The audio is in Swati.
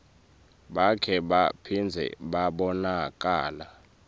bakhe baphindze babonakala